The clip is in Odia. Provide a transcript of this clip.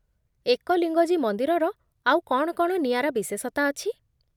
ଏକଲିଙ୍ଗଜୀ ମନ୍ଦିରର ଆଉ କ'ଣ କ'ଣ ନିଆରା ବିଶେଷତା ଅଛି?